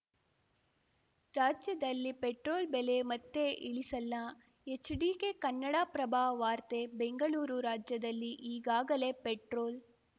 ರಾಜ್ಯದಲ್ಲಿ ಪೆಟ್ರೋಲ್‌ ಬೆಲೆ ಮತ್ತೆ ಇಳಿಸಲ್ಲ ಎಚ್‌ಡಿಕೆ ಕನ್ನಡಪ್ರಭ ವಾರ್ತೆ ಬೆಂಗಳೂರು ರಾಜ್ಯದಲ್ಲಿ ಈಗಾಗಲೇ ಪೆಟ್ರೋಲ್‌